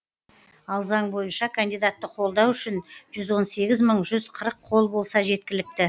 ал заң бойынша кандидатты қолдау үшін жүз он сегіз мың жүз қырық қол болса жеткілікті